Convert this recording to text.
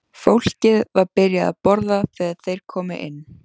Fólkið var byrjað að borða þegar þeir komu inn.